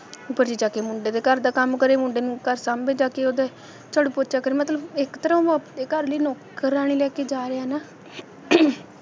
ਉਹ ਘਰੇ ਜਾ ਕੇ ਮੁੰਡੇ ਦੇ ਘਰ ਦਾ ਕੰਮ ਕਰੇ, ਮੁੰਡੇ ਨੂੰ ਘਰ ਸਾਂਭੇ ਜਾ ਕੇ ਓਹਦੇ ਝਾੜੂ ਪੋਚਾ ਕਰੇ ਮਤਲਬ ਇਕ ਤਰ੍ਹਾਂ ਉਹ ਆਪਦੇ ਘਰ ਲਈ ਨੌਕਰਾਣੀ ਲੈ ਕੇ ਜਾ ਰਿਹਾ ਨਾ